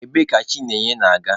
Ebee ka Chinyere na-aga?